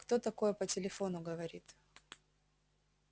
кто такое по телефону говорит